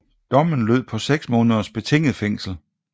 Dommen lød på 6 måneders betinget fængsel